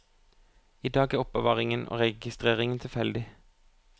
I dag er er oppbevaringen og registreringen tilfeldig.